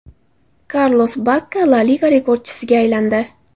Karlos Bakka La Liga rekordchisiga aylandi.